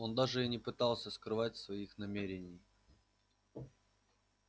он даже и не пытался скрывать своих намерений